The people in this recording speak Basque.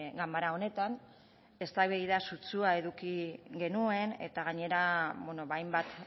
ganbara honetan eztabaida sutsua eduki genuen eta gainera hainbat